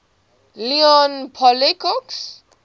leon poliakov